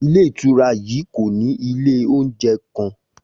Ilé ìtura yii ko ni ile ounjẹ kan